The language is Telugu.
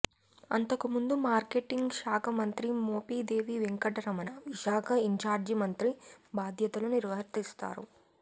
అంతకు ముందు మార్కెటింగ్ శాఖ మంత్రి మోపీదేవి వెంకటరమణ విశాఖ ఇన్చార్జి మంత్రి బాధ్యతలు నిర్వర్తించారు